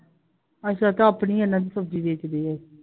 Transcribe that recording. ਅੱਛਾ ਤਾ ਆਪਣੀ ਇਹਨਾਂ ਦੀ ਸਬਜ਼ੀ ਬੇਚਦੇ ਆl